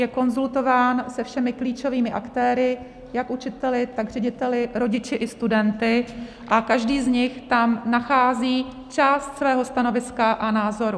Je konzultován se všemi klíčovými aktéry - jak učiteli, tak řediteli, rodiči i studenty - a každý z nich tam nachází část svého stanoviska a názoru.